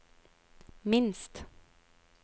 minst